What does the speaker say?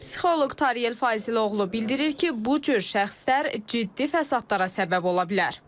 Psixoloq Tariyel Faziloğlu bildirir ki, bu cür şəxslər ciddi fəsadlara səbəb ola bilər.